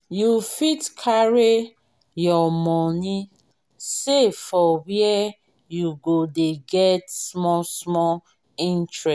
you fit carry your money save for where you go dey get small small interest